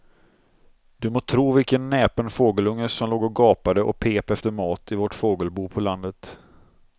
Du må tro vilken näpen fågelunge som låg och gapade och pep efter mat i vårt fågelbo på landet.